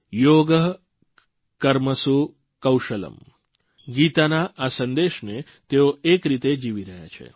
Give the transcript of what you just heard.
યોગઃ કર્મસુ કૌશલમ્ ગીતાના આ સંદેશને તેઓ એક રીતે જીવી રહ્યા છે